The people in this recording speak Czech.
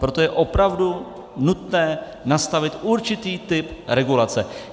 Proto je opravdu nutné nastavit určitý typ regulace.